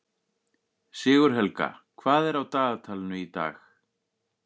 Sigurhelga, hvað er á dagatalinu í dag?